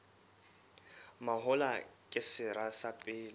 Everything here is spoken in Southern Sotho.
mahola ke sera sa pele